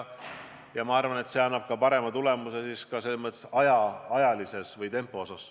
Ja ma arvan, et see annab parema tulemuse ka ajalises mõttes või tempo osas.